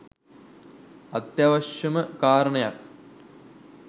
අත්‍යවශ්‍යම කාරණයක්.